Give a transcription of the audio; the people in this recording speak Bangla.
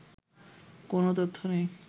কোন তথ্য নেই